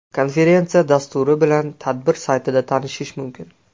Konferensiya dasturi bilan tadbir saytida tanishish mumkin.